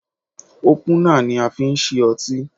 Ópùnà ni a fi ń ṣí otí.